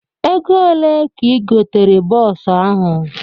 Ego one ka igotere bọọsu ahụ?